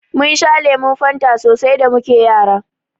Mun sha lemun Fanta so sai da muke Yara.